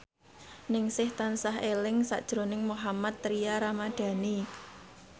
Ningsih tansah eling sakjroning Mohammad Tria Ramadhani